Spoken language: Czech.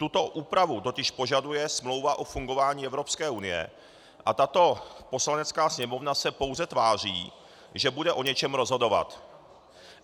Tuto úpravu totiž požaduje Smlouva o fungování Evropské unie a tato Poslanecká sněmovna se pouze tváří, že bude o něčem rozhodovat.